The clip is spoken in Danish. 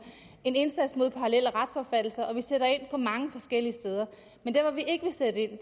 en indsats mod parallelle retsopfattelser og vi sætter ind på mange forskellige steder men der hvor vi ikke vil sætte ind